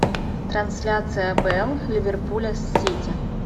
трансляция апл ливерпуля с сити